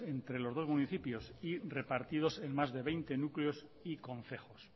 entre los dos municipios y repartidos en más de veinte núcleos y concejos